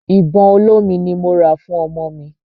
Ìbọn olómi ni mo rà fún ọmọ mi.